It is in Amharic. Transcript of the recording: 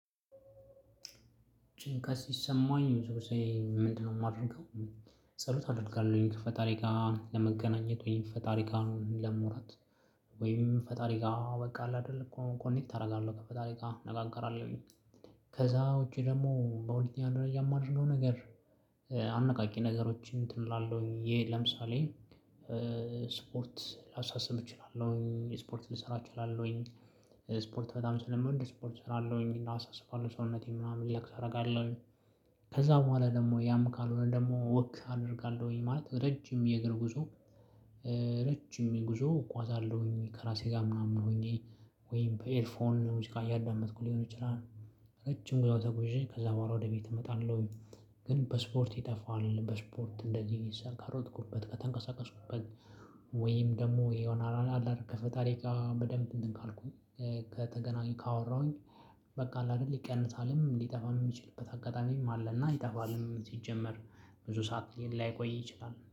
ጭንቀት ሲሰማኝ ሁለተኛ ምንድነው የማደርገው። ጸሎት አደርጋለሁኝ ከፈጣሪ ጋር ለመገናኘት ወይም ፈጣሪ ጋር ለማውራት ወይም ፈጣሪ ጋር በቃ አለአይደለ እኮ ኮኔክት አደርጋለሁ። ከፈጣሪ ጋር እነጋገራለሁኝ። ከዛ ውጪ ደግሞ በሁለተኛ ደረጃ የማደርገው ነገር። አነቃቂ ነገሮችን እንትን እላለሁኝ ይሄ ለምሳሌ። ስፖርት ላሳስብ እችላለሁኝ የስፖርት ልሰራ እችላለሁኝ። ስፖርት በጣም ስለምንድ ስፖርት እሰራለሁኝ እና አሳስባለሁ ሰውነቴን ምናምን ሪላክስ አደርጋለሁኝ። ከዛ በኋላ ደግሞ ያም ካልሆነ ደግሞ ወክ አደርጋለሁኝ ማለት ረጅም የእግር ጉዞ። ረጅም የጉዞ እጓዛለሁኝ ከራሴ ጋር ምናምን ሆኜ ወይም በኤርፎን ሙዚቃ እያዳመጥኩ ሊሆን ይችላል። ረጅም ጉዳዩ ተጉዤ ከዛ በኋላ ወደ ቤት እመጣለሁኝ። ግን በስፖርት ይጠፋዋል በስፖርት እንደዚህ ካሮጥኩበት ከተንቀሳቀስኩበት ወይም ደግሞ የሆነ ናላል ከፈጣሪጋ በደንብ እንትን ካልኩኝ። ከተገናኘሁ ካወራሁኝ። በቃ አይደል ይቀንሳልም ሊጠፋም የሚችልበት አጋጣሚ አለና ይጠፈልም ሲጀመር ብዙ ሰዓት ሊል ላይቆይ ይችላል